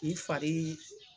K'i fari .